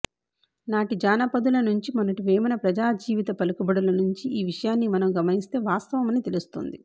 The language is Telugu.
నాటి జానపదుల నుంచి మొన్నటి వేమన ప్రజాజీవిత పలుకుబడుల నుంచి ఈ విషయాన్ని మనం గమనిస్తే వాస్తవమని తెలుస్తోంది